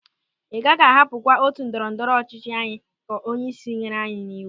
"Ị gaghị ahapụkwa otu ndọrọ ndọrọ ọchịchị anyị" ka onyeisi nyere anyị n'iwu.